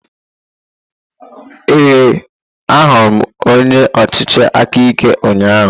Ee, ahụrụ m onye ọchịchị aka ike ụnyahụ.